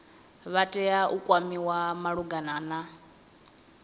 vha tea u kwamiwa malugana